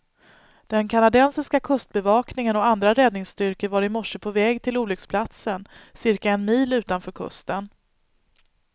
Den kanadensiska kustbevakningen och andra räddningsstyrkor var i morse på väg till olycksplatsen, cirka en mil utanför kusten.